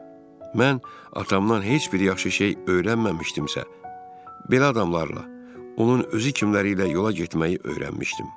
Mən atamdan heç bir yaxşı şey öyrənməmişdimsə, belə adamlarla onun özü kimilərilə yola getməyi öyrənmişdim.